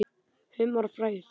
Humar og frægð?